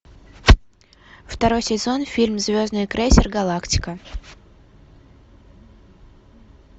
второй сезон фильм звездный крейсер галактика